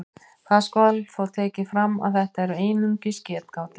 Það skal þó tekið fram að þetta eru einungis getgátur.